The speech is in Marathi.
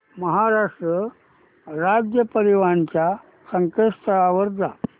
महाराष्ट्र राज्य परिवहन च्या संकेतस्थळावर जा